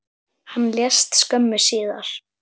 Hann lést skömmu síðar.